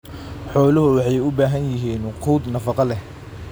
Xooluhu waxay u baahan yihiin quud nafaqo leh.